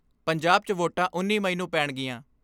ਪੰਜਾਬ 'ਚ ਵੋਟਾਂ ਉੱਨੀ ਮਈ ਨੂੰ ਪੈਣਗੀਆਂ।